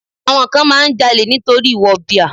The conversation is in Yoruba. Àwọn kan máa ń jalè nítorí wọ̀bìà.